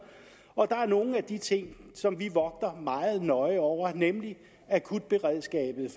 der er nogle af de ting som vi vogter meget nøje over nemlig akutberedskabet